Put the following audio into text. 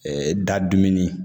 da dumuni